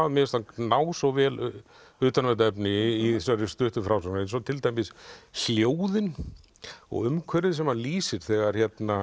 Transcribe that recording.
mér finnst hann ná svo vel utan um þetta efni í þessari stuttu frásögn eins og til dæmis hljóðin og umhverfið sem hann lýsir þegar